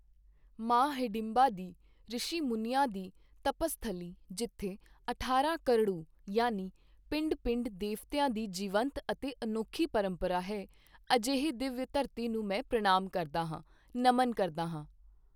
ਮਾਂ ਹਿਡੰਬਾ ਦੀ, ਰਿਸ਼ੀ ਮੁਨੀਆਂ ਦੀ ਤਪਸਥਲੀ ਜਿੱਥੇ ਅਠਾਰਾਂ ਕਰੜੂ ਯਾਨੀ ਪਿੰਡ ਪਿੰਡ ਦੇਵਤਿਆਂ ਦੀ ਜੀਵੰਤ ਅਤੇ ਅਨੌਖੀ ਪਰੰਪਰਾ ਹੈ, ਅਜਿਹੀ ਦਿਵਯ ਧਰਤੀ ਨੂੰ ਮੈਂ ਪ੍ਰਨਾਮ ਕਰਦਾ ਹਾਂ, ਨਮਨ ਕਰਦਾ ਹਾਂ।